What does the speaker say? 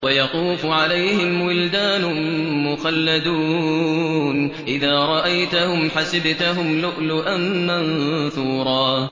۞ وَيَطُوفُ عَلَيْهِمْ وِلْدَانٌ مُّخَلَّدُونَ إِذَا رَأَيْتَهُمْ حَسِبْتَهُمْ لُؤْلُؤًا مَّنثُورًا